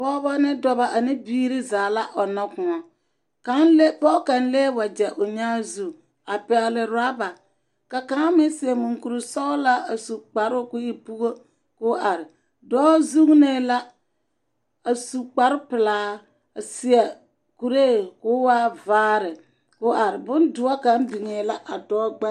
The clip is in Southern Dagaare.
Pɔgeba ne dɔba ane biiri zaa la ɔnnɔ kõɔ. Kaŋ le.. pɔge kaŋ lee wagyɛo nyaa zu a pɛgele oraba ka ka`a meŋ seɛ muŋkuri sɛgelaa a su kparoo ka o e pugo ka o are. dɔɔ zuunee la a su kpare pelaa a seɛ kuree ka o waa vaare ka o are. bodoɔ kaŋ biŋee la a dɔɔ gb….